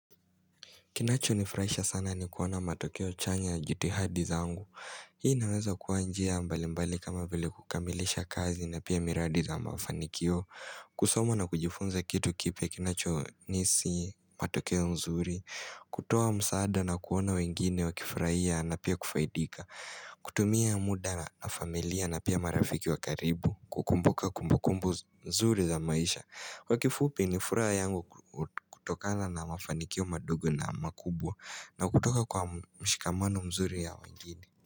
Kinacho nifuraisha sana ni kuona matokeo chanya ya jitihadi zangu. Hii naweza kuwa njia mbali mbali kama vile kukamilisha kazi na pia miradi za mafanikio. Kusoma na kujifunza kitu kipya kinacho nihisi matokeo nzuri. Kutoa msaada na kuona wengine wakifurahia na pia kufaidika. Kutumia muda na familia na pia marafiki wa karibu. Kukumbuka kumbukumbu mzuri za maisha. Kwa kifupi ni furaha yangu kutokana na mafanikio madogo na makubwa na kutoka kwa mshikamano mzuri ya wengini.